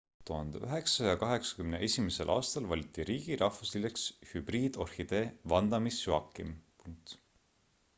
1981 aastal valiti riigi rahvuslilleks hübriidorhidee vanda miss joaquim